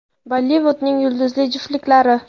Bollivudning yulduzli juftliklari.